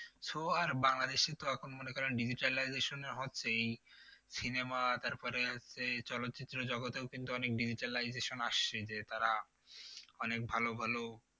So আর বাংলাদেশে তো এখন মনে করেন Digitalization এ হচ্ছে এই cinema তারপরে হচ্ছে এই চলচ্চিত্র জগতেও কিন্তু অনেক Digitalization আসছে যে তারা অনেক ভালো ভালো